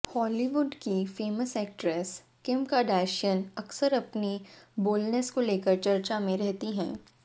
Hollywood की famous actress Kim Kardashian अक्सर अपनी बोल्डनेस को लेकर चर्चा में रहती हैं